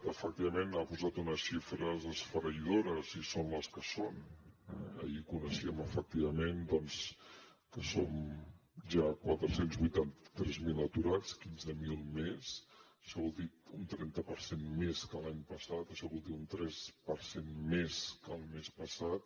efectivament ha posat unes xifres esfereïdores i són les que són eh ahir coneixíem efectivament doncs que som ja quatre cents i vuitanta tres mil aturats quinze mil més això vol dir un trenta per cent més que l’any passat això vol dir un tres per cent més que el mes passat